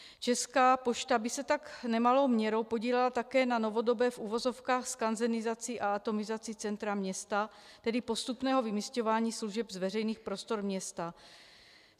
Česká pošta by se tak nemalou měrou podílela také na novodobé, v uvozovkách, skanzenizaci a atomizaci centra města, tedy postupného vymisťování služeb z veřejných prostor města.